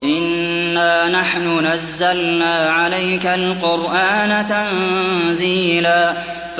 إِنَّا نَحْنُ نَزَّلْنَا عَلَيْكَ الْقُرْآنَ تَنزِيلًا